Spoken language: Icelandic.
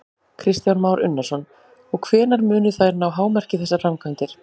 Kristján Már Unnarsson: Og hvenær munu þær ná hámarki, þessar framkvæmdir?